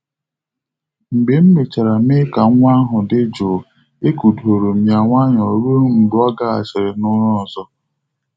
Mgbe m mechara mee ka nwa ahụ dị jụụ, e kụdọrọ m ya nwayọọ ruo mgbe ọ gahachiri n'ụra ọzọ.